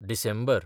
डिसेंबर